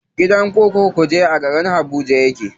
Gidan kurkukun kuje a garin habuja yake.